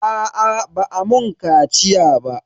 Aa ba a mun kaciya ba.